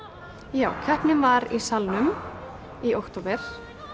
já keppnin var í Salnum í október